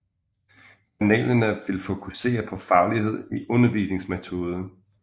Panelerne vil fokusere på faglighed i undervisningsmetoder